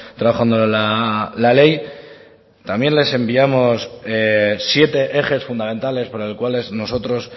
trabajando la ley también les enviamos siete ejes fundamentales por los cuales nosotros